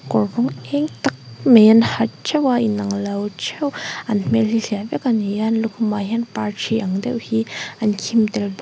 kawr rawng êng tak mai an ha theuh a inang lo theuh an hmel hi hliah vek a ni a lukhumah hian par thi ang deuh hi an khim tel bawk--